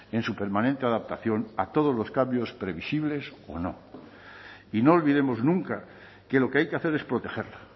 en su permanente adaptación a todos los cambios previsibles o no y no olvidemos nunca que lo que hay que hacer es protegerla